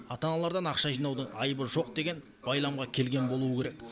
ата аналардан ақша жинаудың айыбы жоқ деген байламға келген болуы керек